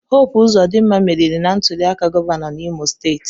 Hope Uzodimma meriri na ntuliaka gọvanọ n'Imo steeti.